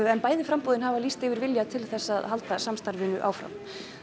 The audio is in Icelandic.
en bæði framboðin hafa lýst yfir vilja til þess að halda samstarfinu áfram